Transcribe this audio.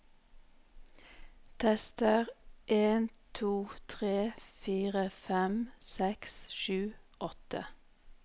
Tester en to tre fire fem seks sju åtte